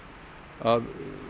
að